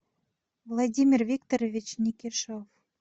владимир викторович никишев